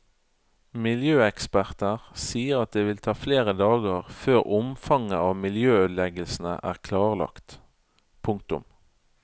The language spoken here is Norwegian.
Miljøeksperter sier at det vil ta flere dager før omfanget av miljøødeleggelsene er klarlagt. punktum